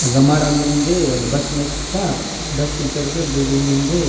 अगा माड़ा मेंदे अगा बस नित्ता बस तीन पेरके बिल्डिंग मिन्दे।